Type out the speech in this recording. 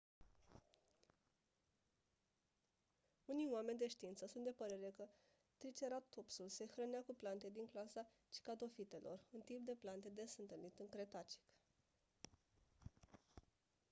unii oameni de știință sunt de părere că triceratopsul se hrănea cu plante din clasa cycadofitelor un tip de plante des întâlnit în cretacic